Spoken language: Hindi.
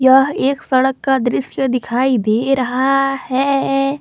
यह एक सड़क का दृश्य दिखाई दे रहा है।